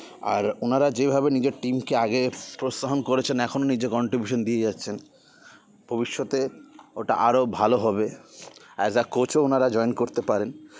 আর ওনারা যে ভাবে নিজের team কে আগের উৎসাহন করেছেন এখন নিজের contribution দিয়ে যাচ্ছেন ভবিষ্যতে ওটা আরও ভালো হবে as a coach ও ওনারা join করতে পারেন